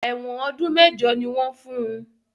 Èwọ̀n ọdún mẹ́jọ ni wọ́n fun